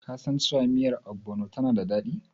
Kasan cewa miyar Ogbono tana da daɗi?